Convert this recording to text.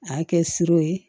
A y'a kɛ surun ye